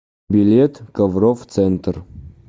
билет коврофф центр